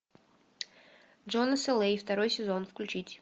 джонас эл эй второй сезон включить